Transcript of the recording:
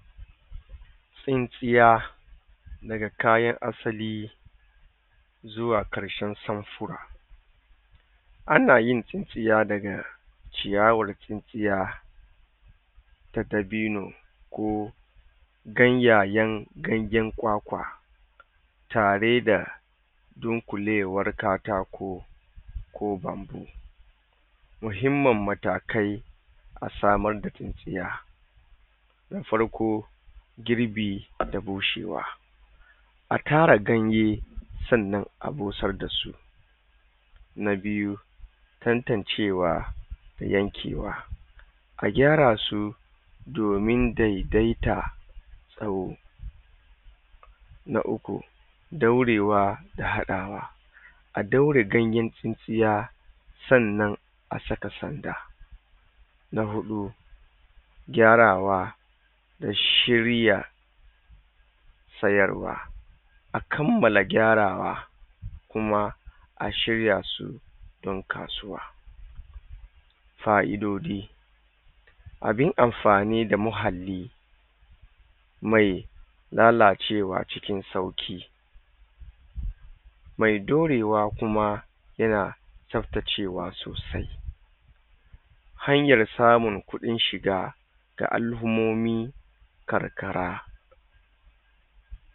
Tsin tsiya daga kayan asali zuwa ƙarshen samfura anayin tsin tsiya daga ciyawar tsin tiya da dabini ko gan yayen ganyan kwakwa tareda dunƙulewar katako ko bambu muhimman matakai asamar da tsin tiya da farko girbi hadda bushewa atara ganye sannan abusar dasu na biyu tantan cewa da yanke wa a gyarasu domin dedaita ɗau na uku ɗaurewa da haɗawa a ɗaure ganyen tsin tsiya sannan asaka sanda na huɗu gyarawa da shirya sayarwa akammala gyarawa kuma a shir yasu don kasuwa fa'idodi abin amfani da muahalli mai lalacewa cikin sauki mai ɗaurewa kuma yana tsafta cewa sausai hanyar samun ƙuɗin shiga ga al'ummomi karkara